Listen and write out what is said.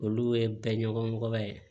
Olu ye bɛɛ ɲɛmɔgɔba ye